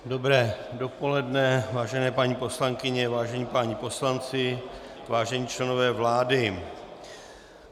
Dobré dopoledne, vážené paní poslankyně, vážení páni poslanci, vážení členové vlády.